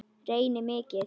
Reyni mikið.